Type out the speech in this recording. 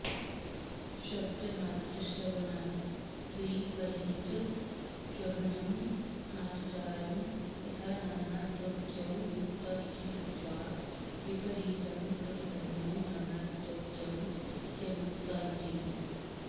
शब्दमात्रश्रवणाद्विपरीतग्रहणमासुतारं यथा नानात्वज्ञो मुक्त इति श्रुत्वा विपरीतं प्रतिपन्नो नानात्वज्ञो ह्यमुक्त इति